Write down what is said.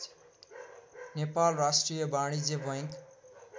नेपाल राष्ट्रिय बाणिज्य बैङ्क